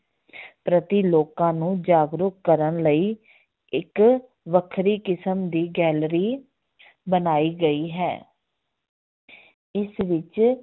ਪ੍ਰਤੀ ਲੋਕਾਂ ਨੂੰ ਜਾਗਰੂਕ ਕਰਨ ਲਈ ਇੱਕ ਵੱਖਰੀ ਕਿਸਮ ਦੀ gallery ਬਣਾਈ ਗਈ ਹੈ ਇਸ ਵਿੱਚ